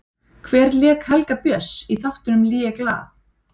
Hver lék Helga Björns í þáttunum Ligeglad?